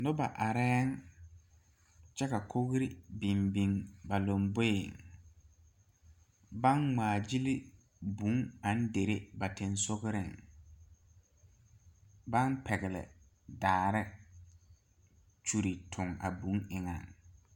Noba are kyɛ ka kogri biŋ biŋ ba lanboɛ baŋ ŋmaa gyile vūū naŋ dire ba son sogre baŋ pegle daare kyuli eŋ a vūū eŋa.